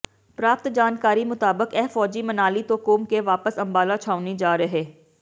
ਪ੍ਰਾਪਤ ਜਾਣਕਾਰੀ ਮੁਤਾਬਿਕ ਇਹ ਫ਼ੌਜੀ ਮਨਾਲੀ ਤੋਂ ਘੁੰਮ ਕੇ ਵਾਪਸ ਅੰਬਾਲਾ ਛਾਉਣੀ ਜਾ ਰਹੇ